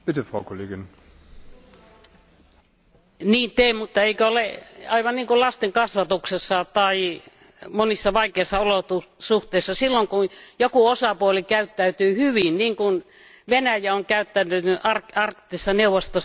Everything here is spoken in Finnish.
Niin teen, mutta eikö ole aivan niin kuin lasten kasvatuksessa tai monissa vaikeissa olosuhteissa, eli silloin kun joku osapuoli käyttäytyy hyvin, niin kuin Venäjä on käyttäytynyt Arktisessa neuvostossa ja hakee kansainvälisiä ratkaisuja, niin ei kai kannata